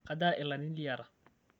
kajaa ilarin liata?